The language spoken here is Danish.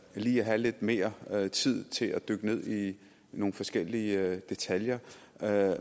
lige at have lidt mere tid til at dykke ned i nogle forskellige detaljer